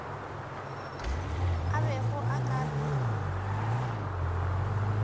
a bego a ka re